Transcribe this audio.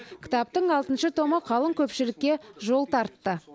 кітаптың алтыншы томы қалың көпшілікке жол тартты